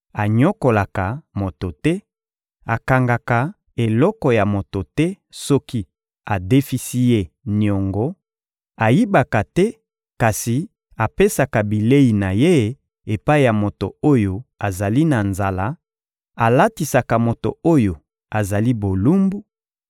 anyokolaka moto te, akangaka eloko ya moto te soki adefisi ye niongo, ayibaka te kasi apesaka bilei na ye epai ya moto oyo azali na nzala, alatisaka moto oyo azali bolumbu,